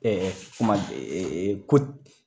Ɛɛ kuma ee ko